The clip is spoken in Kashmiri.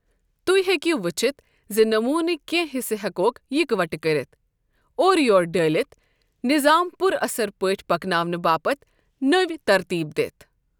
تُہۍ ہیكیو ؤچھِتھ زِ نمونٕكۍ كینہہ حِصہٕ ہیكہوكھ یكوٹہٕ كٔرِتھ ، اورٕ یور ڈٲِلِتھ ،نِظام پُر اثر پٲٹھۍ پكناونہٕ باپت نٕو ترتیب دِتھ ۔